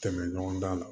Tɛmɛ ɲɔgɔn da la